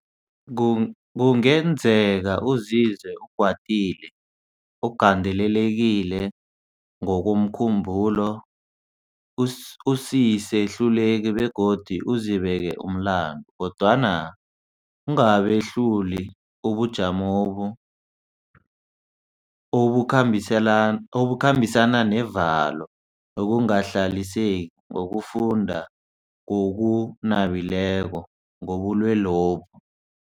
Kungenzeka uzizwe ukwatile, ugandelelekile ngokomkhumbulo, usisehluleki begodu uzibeke umlandu, kodwana ungabehlula ubujamobu obukhambisana nevalo nokungahlaliseki ngokufunda ngokunabileko ngobulwelobu.